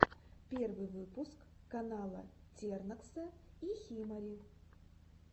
первый выпуск канала тернокса и химари